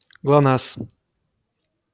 глонассс